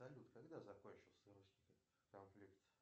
салют когда закончился русский конфликт